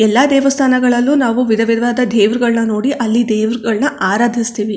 ಎಲ್ಲಾ ದೇವಸ್ಥಾನಗಳಲ್ಲು ನಾವು ವಿಧವಿಧವಾದ ದೇವ್ರಗಳನ್ನ ನೋಡಿ ಅಲ್ಲಿ ದೇವ್ರಗಳನ್ನ ಆರಾಧಿಸ್ತಿವಿ.